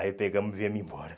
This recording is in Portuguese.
Aí pegamos e viemos embora.